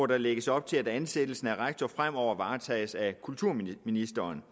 der lægges op til at ansættelsen af rektor fremover varetages at kulturministeren